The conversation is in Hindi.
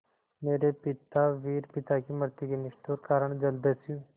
मेरे पिता वीर पिता की मृत्यु के निष्ठुर कारण जलदस्यु